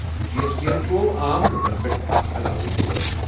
جی S T یَن تروو عام لوٗکَن پٮ۪ٹھ اکھ علاوٕ بور۔